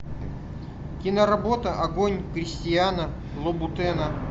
киноработа огонь кристиана лубутена